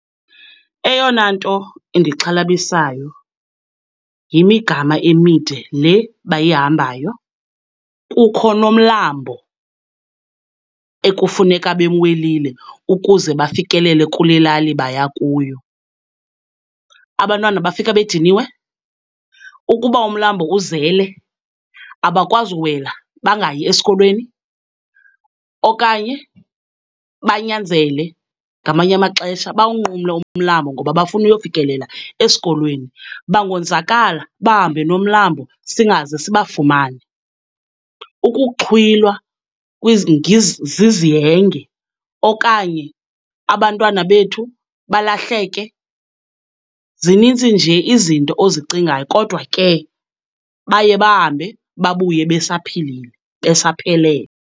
Eyona nto indixhalabisayo yimigama emide le bayihambayo. Kukho nomlambo ekufuneka bemwelile ukuze bafikelele kule lali baya kuyo, abantwana bafika bediniwe. Ukuba umlambo uzele abakwazi uwela, bangayi esikolweni okanye banyanzele ngamanye amaxesha bawunqumle umlambo ngoba bafuna uyofikelela esikolweni. Bangonzakala bahambe nomlambo singaze sibafumane. Ukuxhwilwa zizihenge okanye abantwana bethu balahleke, zinintsi nje izinto ozicingayo kodwa ke baye bahambe babuye besaphilile, besaphelele.